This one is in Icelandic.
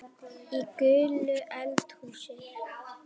Í gulu eldhúsi